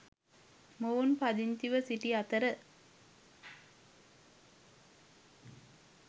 මොවුන් පදිංචිව සිටි අතර